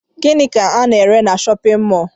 Gịnị ka ana ere n'shóppin mol?